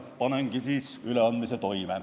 Panengi siis üleandmise toime.